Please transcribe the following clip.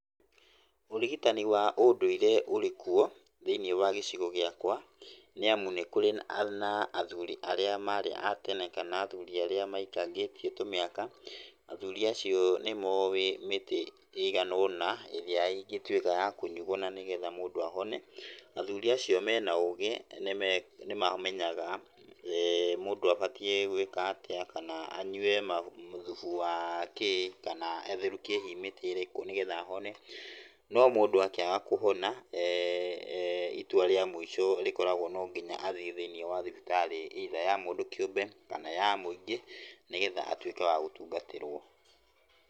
Ũrigitani wa ũndũire ũrĩkuo thĩiniĩ wa gĩcigo gĩakwa, nĩamu nĩkũrĩ na athuuri arĩa maarĩ a tene kana athuuri arĩa maikangĩtie tũmĩaka, athuuri acio nĩmoĩ mĩtĩ ĩigana ũna ĩrĩa ĩngĩtuĩka ya kũnyuo nanĩgetha mũndũ ahone. Athuuri acio mena ũgĩ nĩme, nĩmamenyaga mũndũ abatiĩ gwĩka atĩa kana anyue ma, thubu wakĩĩ kana atherũki hihi mĩtĩ ĩrĩkũ nĩgetha ahone. No mũndũ akĩaga kũhona itua rĩa mũico rĩkoragwo nonginya athiĩ thĩiniĩ wa thibitarĩ either ya mũndũ kĩũmbe kana ya mũingĩ nĩgetha atuĩke wa gũtungatĩrwo.